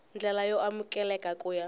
ndlela yo amukeleka ku ya